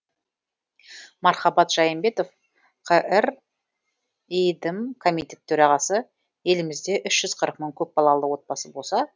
мархабат жайымбетов қр иидм комитет төрағасы елімізде үш жүз қырық мың көпбалалы отбасы болса